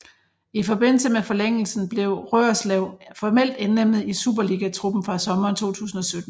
I forbindelse med forlængelsen blev Roerslev formelt indlemmet i superligatruppen fra sommeren 2017